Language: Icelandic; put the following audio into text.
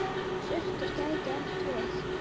Surtur gæti átt við